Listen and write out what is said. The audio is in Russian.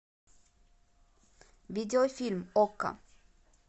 видеофильм окко